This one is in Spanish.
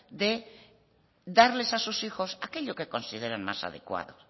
de darles a sus hijos aquello que consideren más adecuado